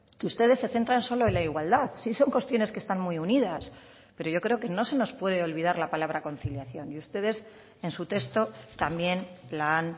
que ustedes se centran solo en la igualdad sí son cuestiones que están muy unidas pero yo creo que no se nos puede olvidar la palabra conciliación y ustedes en su texto también la han